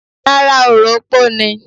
Rárá, orò opó ni.